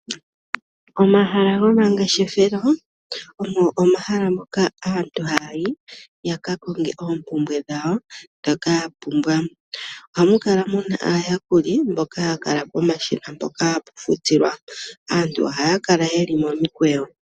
Omahala gomangeshefelo ogo omahala moka aantu haya yi ya ka konge oompumbwe dhawo ndhoka ya pumbwa. Ohamu kala mu na aayakuli mboka haya kala pomashina mpoka hapu futilwa. Aantu ohaya kala momikweyo.